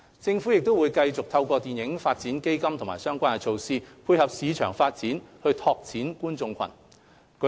政府會繼續透過電影發展基金和相關措施，配合市場發展，拓展觀眾群。